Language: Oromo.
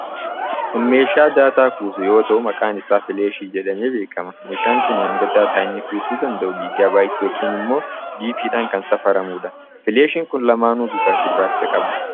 Kun meeshaa daataa kuusu yoo ta'u, maqaan isaa 'filaashii' jedhamee beekama. Meeshaan kun hanga daataa inni kuusuu danda'uu giiggaa baayitii yookiin immoo 'GB'dhaan kan safaramuudha. 'Filaashii'n kun lamaanuu bifa gurraacha qabu.